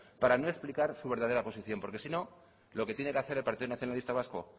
para no explicar su verdadera posición porque si no lo que tiene que hacer el partido nacionalista vasco